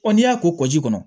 Ɔ n'i y'a ko ji